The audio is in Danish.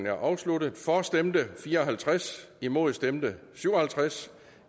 er afsluttet for stemte fire og halvtreds imod stemte syv og halvtreds